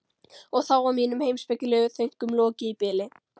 Og þá var mínum heimspekilegu þönkum lokið í bili.